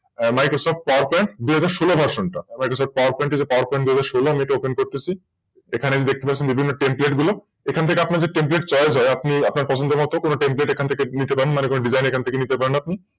MicrosoftPowerPoint দুই হাজার সোলো Version টা এবার হচ্ছে এই য PowerPoint দুই হাজার সোল Version আমি এটা Open করতেছি এখানে দেখতে পাচ্ছেন বিভিন্ন Template গুলো এখান থেকে আপনাদে TemplateChoice হয় আপনি আপনার পছন্দের মত যে কো Template থেকে নিতে পারেন মনে যেকোন Design নিতে পারেন আপনি